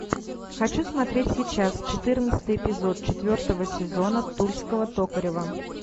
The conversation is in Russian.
хочу смотреть сейчас четырнадцатый эпизод четвертого сезона тульского токарева